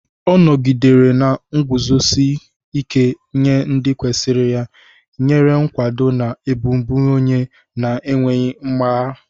Ọ nọgidere na-eguzosi ike nye ndị kwesịrị ya, nyere nkwado na ọbụbụenyi na-enweghị mgbagha.